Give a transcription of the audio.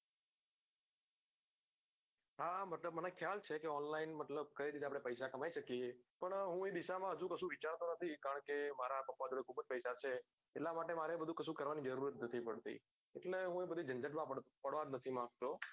આ મતલબ મને ખ્યાલ છે કે online મતલબ કઈ રીતે પૈસા કમાઈ શકીએ પણ હું એ ડીસા મા હજુ કશું વિચારતો નથી કારણ કે મારા પપ્પા જોડે ખુબજ પૈસા છે એટલા માટે મારે કશું કરવાની જરૂર જ નથી પડતી એટલે હું બધી જનજત મા પાડવા જ નથી માગતો